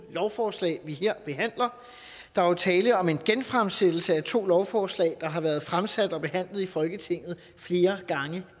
lovforslag vi her behandler der er jo tale om en genfremsættelse af to lovforslag der har været fremsat og behandlet i folketinget flere gange